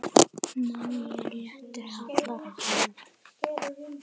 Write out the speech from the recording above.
Máli réttu hallar hann